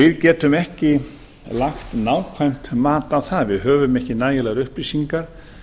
við getum ekki lagt nákvæmt mat á það við höfum ekki nægilegar upplýsingar